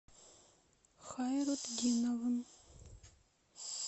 хайрутдиновым